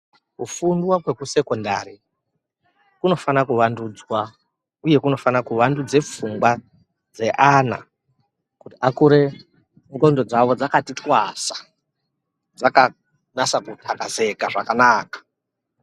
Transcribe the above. Kufunda kwekusekondari kunofanira kuwandudzwa uye kunofana kuwandudza pfungwa dzeana kuti akure ndxondo dzawo dzakati twasa dzakanasa kutakazeka zvakanaka.